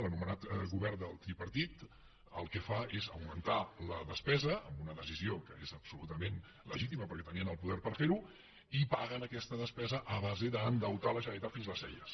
l’anomenat govern del tripartit el que fa és augmentar la despesa amb una decisió que és absolutament legítima perquè tenien el poder per fer ho i paguen aquesta despesa a base d’endeutar la generalitat fins a les celles